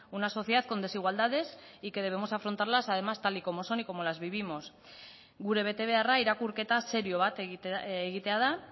una sociedad con desigualdades y que debemos afrontarlas además tal y cómo son y cómo las vivimos gure betebeharra irakurketa serio bat egitea da